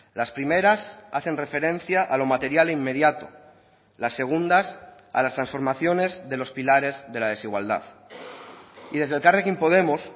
las primeras hacen referencia a lo material e inmediato las segundas a las transformaciones de los pilares de la desigualdad y desde elkarrekin podemos